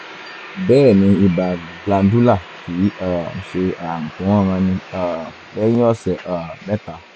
bẹ́ẹ̀ ni ibà glandular kìí um ṣe ààrùn tó ń ranni um lẹ́yìn ọ̀sẹ̀ um mẹ́ta